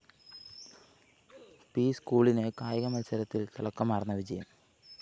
P സ്‌കൂളിന് കായിക മത്സരത്തില്‍ തിളക്കമാര്‍ന്ന വിജയം